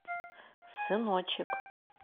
сыночек